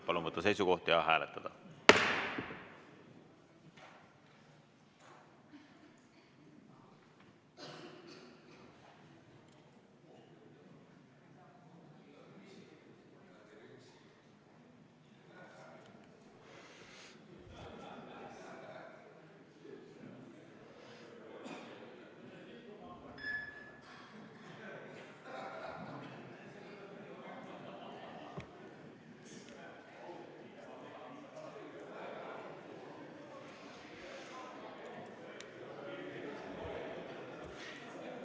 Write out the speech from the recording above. Palun võtta seisukoht ja hääletada!